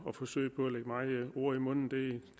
ord i munden det